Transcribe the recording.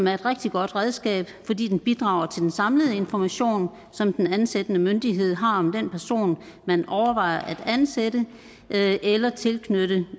er et rigtig godt redskab fordi den bidrager til den samlede information som den ansættende myndighed har om den person man overvejer at ansætte eller tilknytte